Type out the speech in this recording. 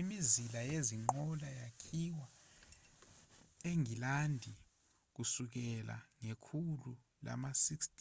imizila yezinqola yakhiwa engilandi kusukela ngekhulu lama-16